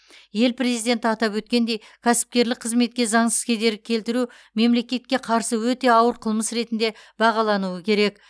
ел президенті атап өткендей кәсіпкерлік қызметке заңсыз кедергі келтіру мемлекетке қарсы өте ауыр қылмыс ретінде бағалауыны керек